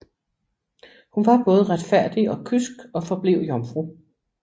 Hun var både retfærdig og kysk og forblev jomfru